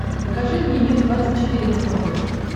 покажи мне мир двадцать четыре на смотрешке